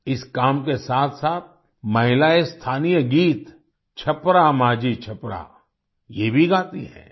इस काम के साथसाथ महिलाएं स्थानीय गीत छपरा माझी छपरा ये भी गाती हैं